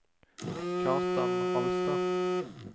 Kjartan Alstad